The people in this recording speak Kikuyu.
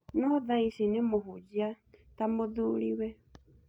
No thaici nĩ mũhunjia ta mũthuriwe